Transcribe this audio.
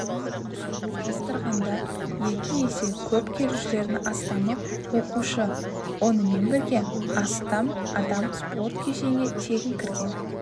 салыстырғанда екі есе көп келушілердің астамы оқушы онымен бірген астам адам спорт кешенге тегін кірген